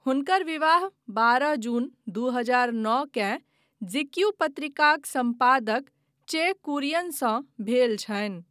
हुनकर विवाह बारह जून दू हजार नओ केँ, जीक्यू पत्रिकाक सम्पादक चे कुरियनसँ भेल छनि।